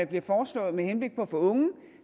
bliver foreslået med henblik på at få unge